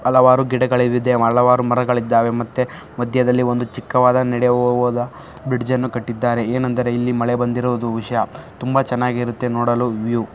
ಹಲವಾರು ಗಿಡಗಳಿವೆ ಮರಗಳಿದ್ದಾವೆ. ಮತ್ತೆ ಮದ್ಯದಲ್ಲಿ ಒಂದು ಚಿಕ್ಕವಾದ ನಡೆಯುವವವಾದ ಬ್ರಿಡ್ಜ್ ಅನ್ನು ಕಟ್ಟಿದ್ದಾರೆ. ಏನೆಂದರೆ ಇಲ್ಲಿ ಮಳೆ ಬಂದಿರುವುದು ವಿಷಯ ತುಂಬಾ ಚೆನ್ನಾಗಿರುತ್ತೆ ನೋಡಲು ವೀವ್ .